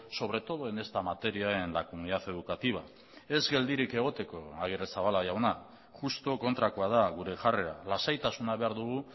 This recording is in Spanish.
sobre todo en esta materia en la comunidad educativa ez geldirik egoteko agirrezabala jauna justu kontrakoa da gure jarrera lasaitasuna behar dugu